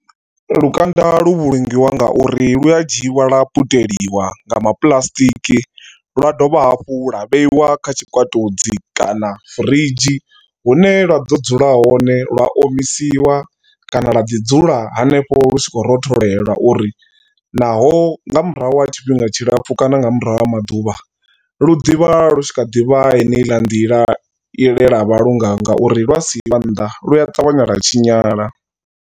Lukanda lu vhulungiwa nga uri lu a dzhiiwa lwa puteliwa nga ma puḽasitiki lwa dovha hafhu lwa vheiwa kha tshikwatudzi kana firidzhi. Hune lwa ḓo dzula hone lwa omisiwa kana lwa ḓi dzula hanefho lu tshi khou rotholela uri naho nga murahu ha tshifhinga tshilapfu kana nga murahu ha maḓuvha lu ḓivha lu tshi kha ḓi vha heneiḽa nḓila i lelwa vha lungayo ngauri lwa siiwa nnḓa lu a ṱavhanya lwa tshinyala.